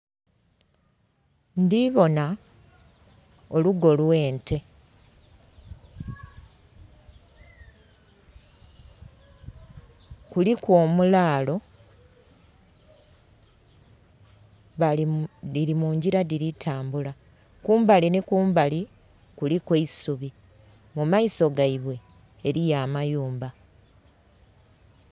Ndhibonha olugo lw'ente. Kuliku omulaalo. Dhili mungila dhili tambula. Kumbali nhi kumbali kuliku eisubi, mu maiso gaibwe eliyo amayumba.